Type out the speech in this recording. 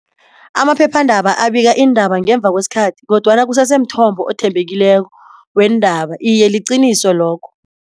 Amaphephandaba abika iindaba ngemva kwesikhathi kodwana kusese mthombo othembekileko weendaba, iye liqiniso lokho.